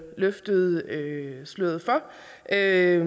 løftede sløret for er